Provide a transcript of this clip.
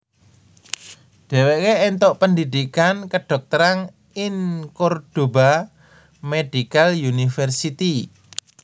Dheweke entuk pendhidhikan kedhokteran ing Cordoba Medical University